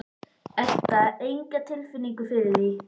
Edda: Enga tilfinningu fyrir því?